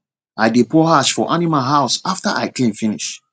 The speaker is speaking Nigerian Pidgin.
i dey pour ash for animal house after i clean finish